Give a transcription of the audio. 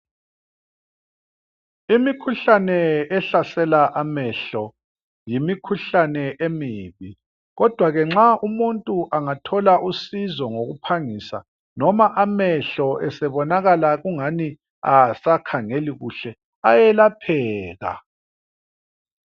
Imikhuhlane ehlasela amehlo yimikhuhlane emibi, kodwa ke nxa umuntu angathola usizo ngokuphangisa noma amehlo esebonakala kungani asakhangeli kuhle ayelapheka.